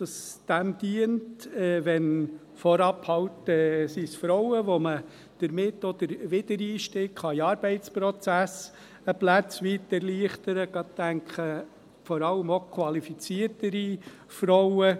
Es könnte dem Zweck dienen, vorab den Frauen den Wiedereinstieg in den Arbeitsprozess ein Stück weit zu erleichtern – ich denke vor allem auch an qualifiziertere Frauen.